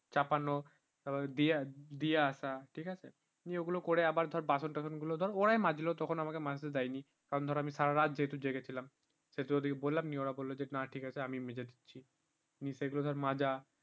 চাপানো দিয়ে দিয়ে আসা তুমি ওগুলো করে আবার তার বাসন টাসন গুলো পুরাই মাজলো তখন আমাকে মাজতে দেয়নি কারণ ধর আমি সারারাত যেহেতু জেগে ছিলাম সে তো ওদেরকে বলে আমি ওরা বলল না ঠিক আছে আমি মেজে দিচ্ছি নিয়ে সেগুলো ধর মাজা